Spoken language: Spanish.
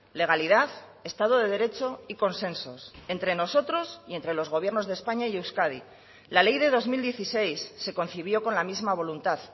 legalidad estado de derecho y consensos entre nosotros y entre los gobiernos de españa y euskadi la ley de dos mil dieciséis se concibió con la misma voluntad